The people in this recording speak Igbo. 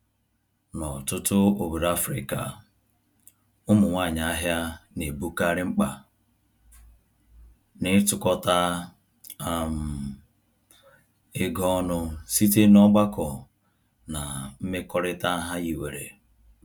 N'ọtụtụ obodo Afrịka, ụmụ nwanyị ahịa na-ebukarị mkpa n'ịtukọta um ego ọnụ site n'ọgbakọ na mmekọrịta ha hiwere.